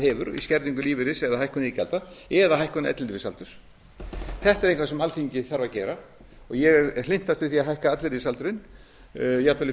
hefur í skerðingum lífeyris eða hækkun iðgjalda eða hækkun ellilífeyrisaldurs þetta er eitthvað sem alþingi þarf að gera og ég er hlynntastur því að hækka ellilífeyrisaldurinn jafnvel upp